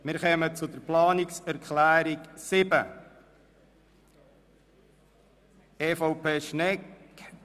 Wir kommen zur Planungserklärung 7 EVP/Schnegg.